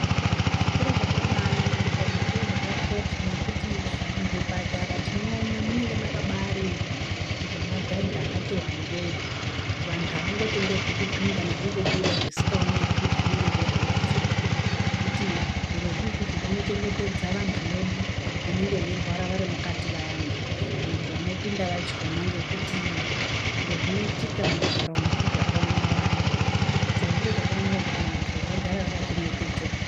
Chiro chakabaanaka ende chiro chakakosha ngekuti muzvipatara tinoona munenge makabaarindwa ngemagadhi akati wandei kuti vanthu avangotenderwi kupinda nekubuda zvisikaoneki kuti zvinenge zveihamba sei ngekuti zvirozvizvi zvinochengetedza vanthu vedu vanonga veirwara vari mukati vayana kana kuti vanopinda vachona ngekuti zviro zvinoitika mukugara umu zviro zvakawanda wanda, Saka chiro chakanaka kuti vanthu vagare vakachengetedzeka.